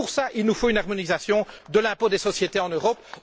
Pour cela, il nous faut une harmonisation de l'impôt des sociétés en Europe.